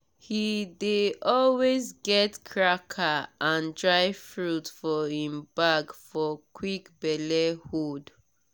he dey always get cracker and dry fruit for him bag for quick belle hold.